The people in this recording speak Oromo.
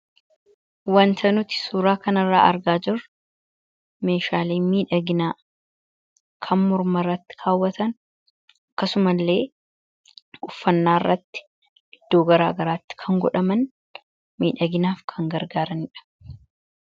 Wanta nuti suuraa kana irraa argaa jirru meeshaalee miidhaginaa kan mormarratti kaawwatan akkasuma illee uffannaa irratti iddoo garaa garaatti kan godhaman miidhaginaaf kan gargaaranidha.